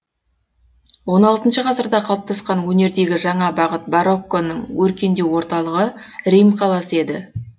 он алтыншы ғасырда қалыптасқан өнердегі жаңа бағыт барокконың өркендеу орталығы рим қаласы еді